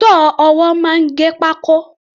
Sọ́ọ̀ ọwọ́ máa ń gé pákó.